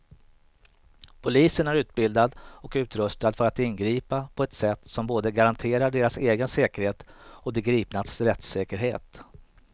Polisen är utbildad och utrustad för att ingripa på ett sätt som både garanterar deras egen säkerhet och de gripnas rättssäkerhet.